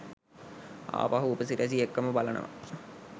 ආපහු උපසිරැසි එක්කම බලනවා.